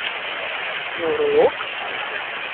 Nevrolog?